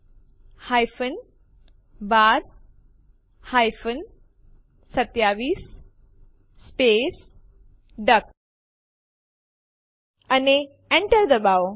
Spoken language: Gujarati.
આપણે ટર્મિનલ ખોલીશું અને લખો એમવી ટેસ્ટ1 ટેસ્ટ2 અને Enter દબાવો